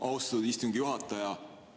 Austatud istungi juhataja!